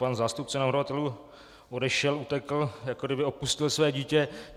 Pan zástupce navrhovatelů odešel, utekl, jako kdyby opustil své dítě.